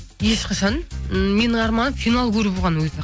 ешқашан ммм менің арманым финал көру болған өзі